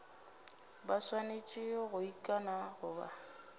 ba swanetše go ikana goba